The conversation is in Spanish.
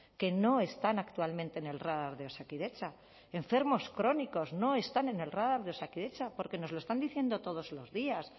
que no están actualmente en el radar de osakidetza enfermos crónicos no están en el radar de osakidetza porque nos lo están diciendo todos los días